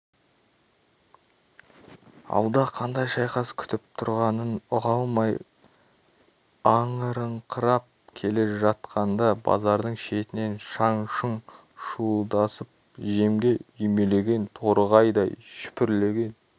алда қандай шайқас күтіп тұрғанын ұға алмай аңырыңқырап келе жатқанда базардың шетінен шаң-шұң шуылдасып жемге үймелеген торғайдай шүпірлеген